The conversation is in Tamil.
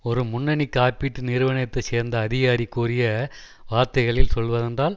ஒரு முன்னணி காப்பீட்டு நிறுவனத்தை சேர்ந்த அதிகாரி கூறிய வார்த்தைகளில் சொல்வதென்றால்